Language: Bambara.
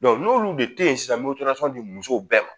n'olu de tɛ yen sisan di musow bɛɛ ma